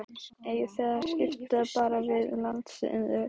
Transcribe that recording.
Eigið þið þá ekki að skipta bara við landsliðið?